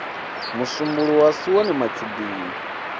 musumbuluwo a si one matshudeni